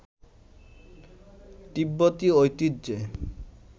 তিব্বতী ঐতিহ্যে